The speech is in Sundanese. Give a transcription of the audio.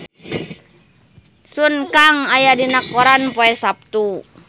Sun Kang aya dina koran poe Saptu